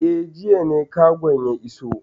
Eh, jiya ne kagon ya iso.